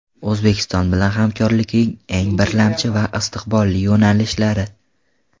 O‘zbekiston bilan hamkorlikning eng birlamchi va istiqbolli yo‘nalishlari.